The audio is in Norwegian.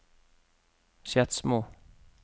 Skedsmo